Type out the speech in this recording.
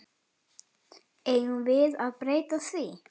Eigum við að breyta því?